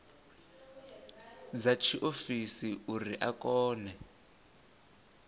dza tshiofisi uri a kone